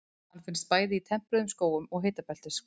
Hann finnst bæði í tempruðum skógum og hitabeltisskógum.